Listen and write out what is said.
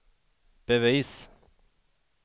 bevis